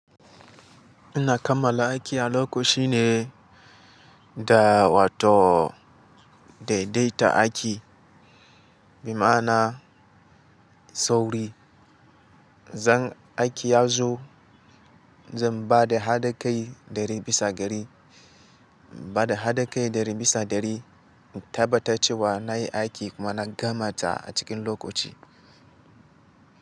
Ina kammala aiki a lokaci ne da wato daidaita aiki. Bi ma'ana, sauri. Zan aiki yazo, zan ba da haɗin kai ɗari bisa ɗari, ba da hadakai ɗari bisa ɗari, in tabbata cewa na yi aiki kuma na gama ta a cikin lokaci.